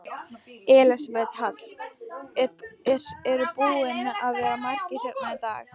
Elísabet Hall: Eru búnir að vera margir hérna í dag?